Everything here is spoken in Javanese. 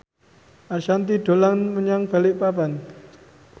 Ashanti dolan menyang Balikpapan